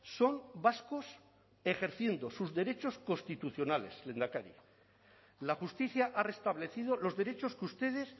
son vascos ejerciendo sus derechos constitucionales lehendakari la justicia ha restablecido los derechos que ustedes